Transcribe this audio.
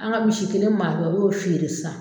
An ka misi kelen marata o y'o feere sisan.